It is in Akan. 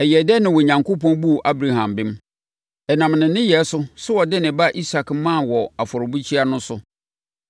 Ɛyɛɛ dɛn na Onyankopɔn buu Abraham bem? Ɛnam ne nneyɛeɛ so sɛ ɔde ne ba Isak maa wɔ afɔrebukyia so no.